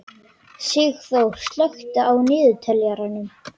Sigþór, slökktu á niðurteljaranum.